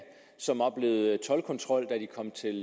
som oplevede toldkontrol da de kom til